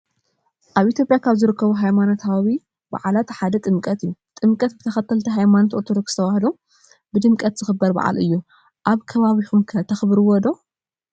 አብ ኢትዬጲያ ካብ ዝርከቡ ሃይማኖታዊ በዓላት ሓደ ጥምቀት እዩ። ጥምቀት ብተከተልቲ ሃይማኖት አርቶዶክስ ተዋህዶ ብድምቀት ዝክበር በዓል እዩ። አብ ከባቢኩም ከ ተክብሩዎ ዶ?